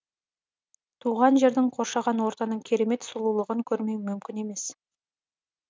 туған жердің қоршаған ортаның керемет сұлулығын көрмеу мүмкін емес